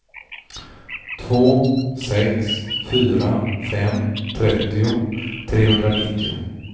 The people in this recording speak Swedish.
två sex fyra fem trettio trehundranittio